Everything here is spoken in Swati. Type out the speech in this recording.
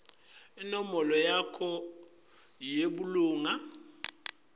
inombolo yakho yebulunga